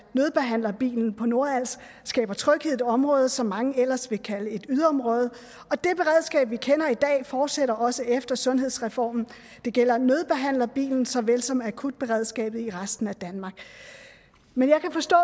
nødbehandlerbilen på nordals skaber tryghed i et område som mange ellers ville kalde et yderområde og det beredskab vi kender i dag fortsætter også efter sundhedsreformen det gælder nødbehandlerbilen såvel som akutberedskabet i resten af danmark men jeg kan forstå